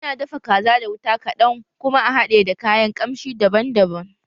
Ana dafa kaza da wuta kaɗan kuma a hade da kayan kamshi daban daban